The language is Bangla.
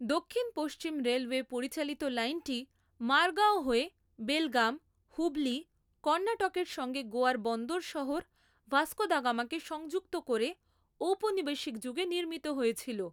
দক্ষিণ পশ্চিম রেলওয়ে পরিচালিত লাইনটি মারগাও হয়ে বেলগাম, হুবলি, কর্ণাটকের সঙ্গে গোয়ার বন্দর শহর ভাস্কো দা গামাকে সংযুক্ত করে ঔপনিবেশিক যুগে নির্মিত হয়েছিল ।